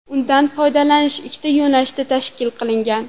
Undan foydalanish ikkita yo‘nalishda tashkil qilingan.